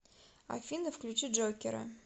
афина включи джокера